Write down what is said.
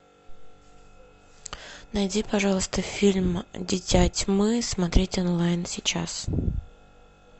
найди пожалуйста фильм дитя тьмы смотреть онлайн сейчас